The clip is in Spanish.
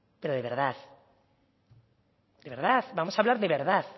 pero de verdad de verdad vamos a hablar de verdad